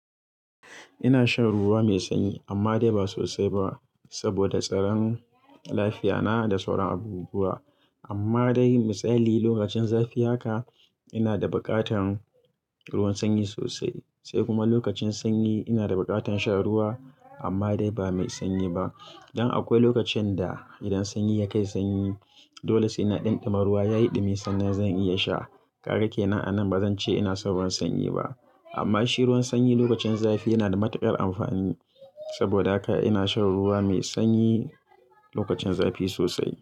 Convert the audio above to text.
Ina shan ruwa mai sanyi amma dai ba sosai ba saboda tsaron lafiya na da sauran abubuwa. Amma dai misali lokacin zafi haka ina da buƙatan ruwan sanyi sosai. Sai kuma lokacin sanyi ina da buƙatan sha ruwa amma dai ba mai sanyi ba. Dan akwai lokacin da idan sanyi ya kai sanyi, dole sai na ɗunɗuma ruwa yayi dumi sannan zan iya sha. Kaga kenan a nan bazan ce ina san ruwan sanyi ba. Amma shi ruwan sanyi lokacin zafi yana da matuƙar amfani saboda haka ina shan ruwa mai sanyi lokacin zafi sosai.